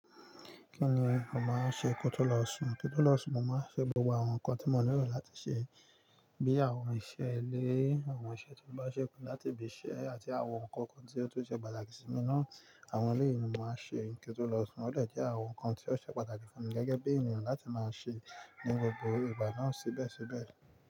Kí ni o màá ṣe kí ó tó lọ sùn? Kí n tó lọ sùn, màá ṣe gbogbo àwọn nǹkan tí mò nírò láti ṣe bí i àwọn iṣẹ́ ilé, àwọn iṣẹ́ ti n bá ṣẹ́kù láti ibì ṣẹ́ àti àwọn nǹkan kan tí ó tun ṣe pàtàkì sí mi náà. Àwọn eléyìí ni mo màá ṣe kí n tó lọ sùn. Ó dè jẹ́ àwọn nǹkan tí ó ṣe pàtàkì fún mi gẹ́gẹ́ bí ènìyàn láti máa ṣe ní gbogbo ìgbà náà síbẹ̀síbẹ̀